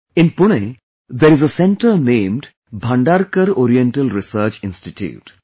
In Pune there is a centre named Bhandarkar Oriental Research Institute